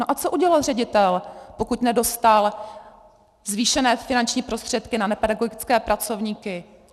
No a co udělá ředitel, pokud nedostal zvýšené finanční prostředky na nepedagogické pracovníky?